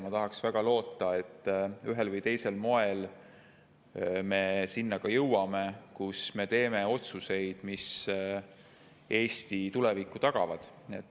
Ma tahaks väga loota, et ühel või teisel moel me sinna ka jõuame ning teeme otsuseid, mis Eesti tuleviku tagavad.